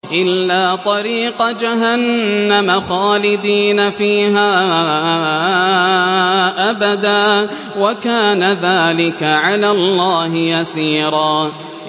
إِلَّا طَرِيقَ جَهَنَّمَ خَالِدِينَ فِيهَا أَبَدًا ۚ وَكَانَ ذَٰلِكَ عَلَى اللَّهِ يَسِيرًا